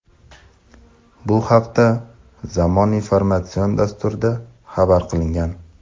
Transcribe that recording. Bu haqda "Zamon" informatsion dasturida xabar qilingan.